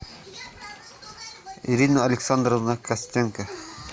ирина александровна костенко